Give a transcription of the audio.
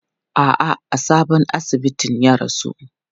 A'a, a sabon asibitin ya rasu.